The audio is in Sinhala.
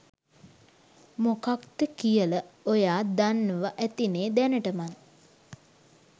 මොකක්ද කියල ඔයා දන්නව ඇතිනෙ දැනටමත්.